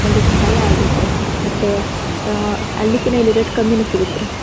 ಒಂದು ಸಹಾಯ ಆಗತ್ತೆ ರೀ ಮತ್ತೆ ಅಹ್ ಅಲ್ಲಿ ಕನು ಇಲ್ಲಿ ರೇಟ್ ಕಮ್ಮಿ ಸಿಗತ್ತೆ ರೀ